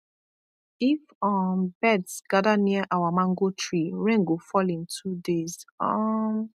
if um birds gather near our mango tree rain go fall in two days um